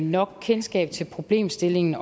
nok kendskab til problemstillingen